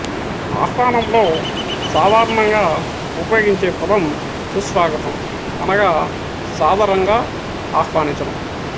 ఆహ్వానంలో సాధారణంగా ఉపయోగించే పదం సుస్వాగతం అనగా సాదరంగా ఆహ్వానించడం